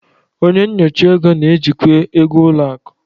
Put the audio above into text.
Onye nyocha ego na-ejikwa ego ụlọ akụ.